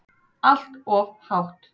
Allt of hátt.